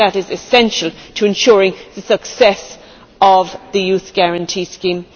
That is essential in ensuring the success of the Youth Guarantee scheme.